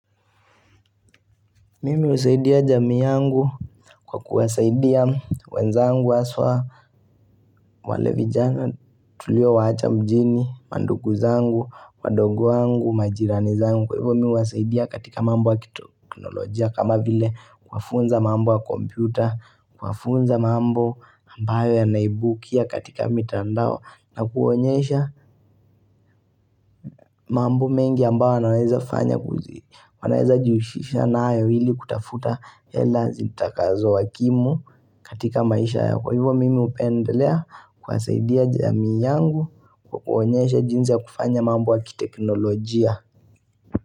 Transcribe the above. Mimi husaidia jamii yangu kwa kuwasaidia wenzangu haswa wale vijana tuliowacha mjini mandugu zangu wadogo wangu majirani zangu kwa hivyo mimi huwasaidia katika mambo ya kiteknolojia kama vile kufunza mambo wa kompyuta kufunza mambo ambayo ya naibukia katika mitandao na kuonyesha mambo mengi ambayo wanaweza fanya kuzi wanaweza jihusisha nayo ili kutafuta hela zintakazo wakimu katika maisha yako kwa hivyo mimi hupendelea kusaidia jamii yangu Kwa kuwaonyesha jinsi ya kufanya mambo ya kiteknolojia.